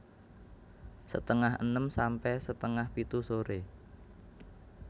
Setengah enem sampe setengah pitu sore